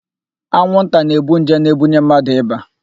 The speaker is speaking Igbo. Anwụnta na-ebu nje na-ebunye mmadụ ịba.